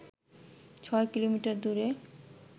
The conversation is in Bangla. ছয় কিলোমিটার দূরে